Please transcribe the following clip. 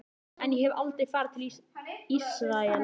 En ég hef aldrei farið til Ísraels.